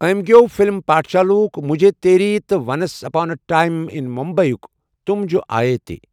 أمہِ گیوٚو فِلِم پاٹھشالا ہُک'مُجھے تیری' تہٕ once upon a time in Mumbai یُک 'تُم جو آیے' تہِ۔